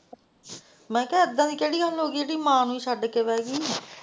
ਮੈਂ ਕਹਿਆ ਇਹਦਾ ਦੀ ਕਿਹੜੀ ਗੱਲ ਹੋ ਗਈ ਜਿਹੜੀ ਮਾਂ ਨੂੰ ਛੱਡ ਕੇ ਬੇ ਗਈ।